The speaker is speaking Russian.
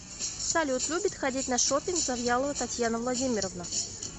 салют любит ходить на шопинг завьялова татьяна владимировна